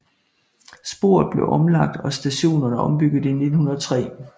Sporet blev omlagt og stationerne ombygget i 1903